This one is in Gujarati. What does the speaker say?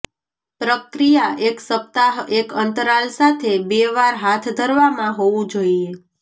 પ્રક્રિયા એક સપ્તાહ એક અંતરાલ સાથે બે વાર હાથ ધરવામાં હોવું જોઈએ